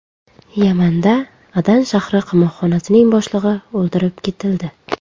Yamanda Adan shahri qamoqxonasining boshlig‘i o‘ldirib ketildi.